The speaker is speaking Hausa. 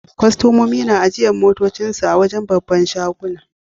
Kustomomi na ajiyan motocin su a'wajen' babban shagunan.